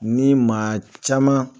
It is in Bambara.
Ni maa caman